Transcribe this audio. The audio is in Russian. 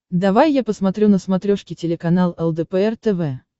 давай я посмотрю на смотрешке телеканал лдпр тв